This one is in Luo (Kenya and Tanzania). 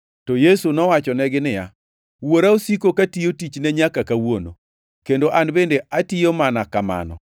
To Yesu nowachonegi niya, “Wuora osiko katiyo tichne nyaka kawuono, kendo an bende atiyo mana kamano.”